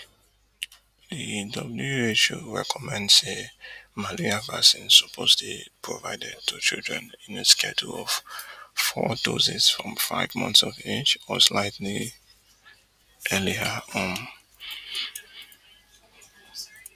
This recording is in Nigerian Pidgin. di who recommend say malaria vaccines suppose dey provided to children in a schedule of four doses from five months of age or slightly earlier um